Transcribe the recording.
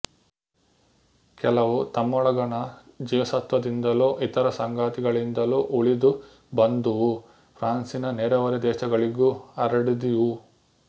ಕೆಲವು ತಮ್ಮೊಳಗಣ ಜೀವಸತ್ವದಿಂದಲೊ ಇತರ ಸಂಗತಿಗಳಿಂದಲೊ ಉಳಿದು ಬಂದುವು ಫ್ರಾನ್ಸಿನ ನೆರೆಹೊರೆ ದೇಶಗಳಿಗೂ ಹರಡಿದುವು